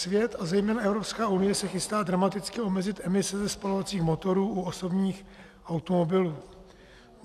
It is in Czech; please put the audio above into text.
Svět a zejména Evropská unie se chystá dramaticky omezit emise ze spalovacích motorů u osobních automobilů.